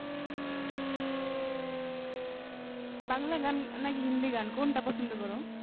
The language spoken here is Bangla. বাংলা গান না~ নাকি হিন্দি গান কোনটা পছন্দ করো?